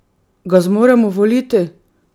Ga zmoremo voliti?